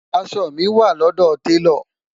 aṣọ mi wà lọdọ talo